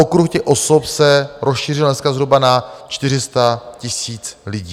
Okruh těch osob se rozšířil dneska zhruba na 400 000 lidí.